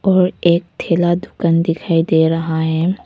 और एक ठेला दुकान दिखाई दे रहा है।